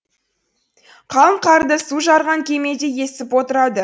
қалың қарды су жарған кемедей есіп отырады